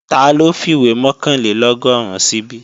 Taló fìwé mọ̀kànlélọ́gọ́rùn síbí?